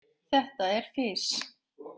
Þetta er fis.